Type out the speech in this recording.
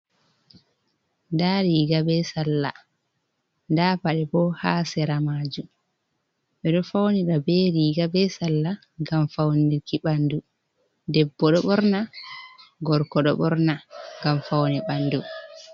Daariga be sallaa, da paɗe bo ha seera maajum ɓe do faunira be riiga be sallaa ngam fauniki ɓandu. debbo do nɓorna, gorko do ɓorna ngam fauni ɓandu.